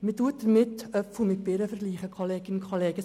Es werden Äpfel mit Birnen verglichen, Kolleginnen und Kollegen.